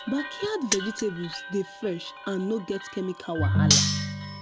backyard vegetables dey fresh and no get chemical wahala